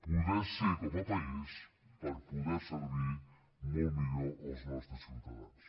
poder ser com a país per poder servir molt millor els nostres ciutadans